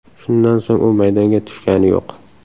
Shundan so‘ng u maydonga tushgani yo‘q.